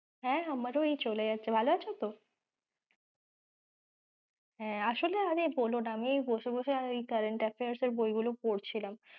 হ্যাঁ আমারও এই চলে যাচ্ছে ভালো আছো তো? হ্যাঁ আসলে আর বলোনা আমি এই বসে বসে current affairs এর বই গুলো পড়ছিলাম।